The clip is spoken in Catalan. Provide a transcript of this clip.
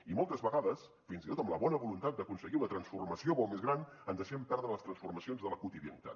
i moltes vegades fins i tot amb la bona voluntat d’aconseguir una transformació molt més gran ens deixem perdre les transformacions de la quotidianitat